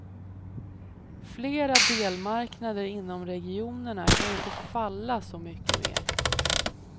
Flera delmarknader inom regionerna kan inte falla så mycket mer.